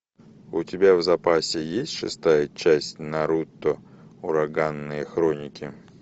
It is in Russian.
у тебя в запасе есть шестая часть наруто ураганные хроники